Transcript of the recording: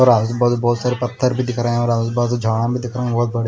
और आजूबाजू बहोत सारे पत्थर भी दिख रहे हैं और आजूबाजू झाड़ा भी दिख रहे हैं बहोत बड़े --